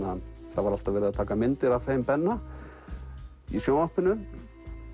það var alltaf verið að taka myndir af þeim Benna í sjónvarpinu